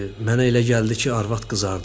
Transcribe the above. Mənə elə gəldi ki, arvad qızardı.